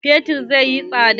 Fetur zai yi tsada.